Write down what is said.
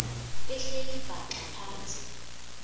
behleli bhaxa phantsi